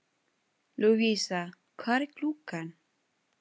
Lúvísa, hvað er klukkan?